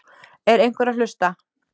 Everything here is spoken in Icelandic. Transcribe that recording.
Er einhver að hlusta?